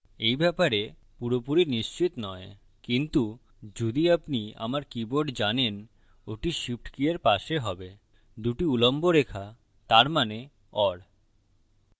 এই ব্যাপারে পুরোপুরি নিশ্চিত নয় কিন্তু যদি আপনি আমার keyboard জানেন ওটি shift key or পাশে হবেদুটি উল্লম্ব রেখা তার means or